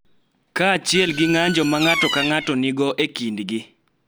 Kaachiel gi ng�anjo ma ng�ato ka ng�ato nigo e kindgi .